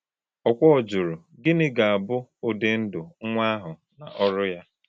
Okwor jụrụ: “Gịnị ga-abụ ụdị ndụ nwa ahụ na ọrụ ya?”